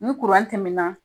Ni kuran tɛmɛna